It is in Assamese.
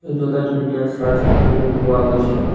এইটো এটা ধুনীয়া চাৰ্চ পোৱা গৈছে।